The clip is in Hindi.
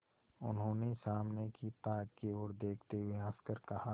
उन्होंने सामने की ताक की ओर देखते हुए हंसकर कहा